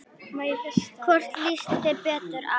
Hvorn líst þér betur á?